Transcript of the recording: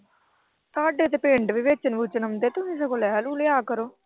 ਤੁਹਾਡੇ ਤਾਂ ਪਿੰਡ ਵੀ ਵੇਚਣ-ਵੁਚਣ ਆਲੇ ਆਉਂਦੇ ਨੇ। ਸਗੋਂ ਲੈ ਲੂ ਲਿਆ ਕਰੋ।